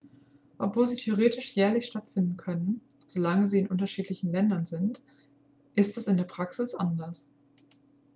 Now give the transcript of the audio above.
obwohl sie theoretisch jährlich stattfinden können solange sie in unterschiedlichen ländern sind ist das in der praxis anders